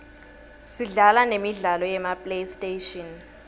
sidlala nemidlalo yema playstation